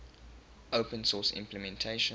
open source implementations